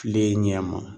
Tile ɲɛ ma